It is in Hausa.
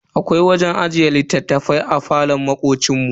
Akwai wajen ajiye littattafai a falon makocin mu.